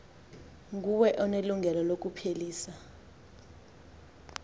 nguwe onelungelo lokuphelisa